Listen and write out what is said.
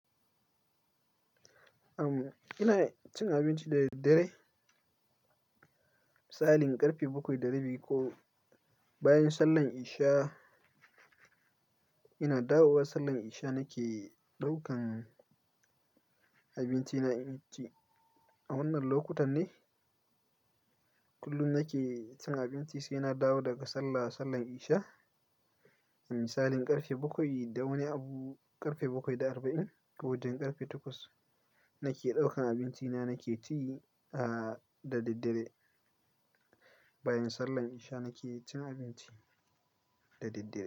Amma ina cin abinci da daddare, misalin ƙarfe bakwai da rabi ko bayan sallar isha. Ina dawowa sallar isha, nake ɗaukan abincina in ci. A wannan lokutan ne kullum nake cin abinci sai na dawo daga sallah, sallar isha. Misalin karfe bakwai da wani abu, karfe bakwai da arba'in ko wajen karfe takwas nake ɗaukan abinci na, nake ci da daddare. Bayan sallar isha nake cin abinci da daddare.